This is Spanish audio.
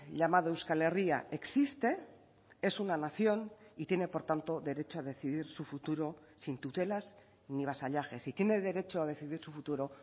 llamado euskal herria existe es una nación y tiene por tanto derecho a decidir su futuro sin tutelas ni vasallajes y tiene derecho a decidir su futuro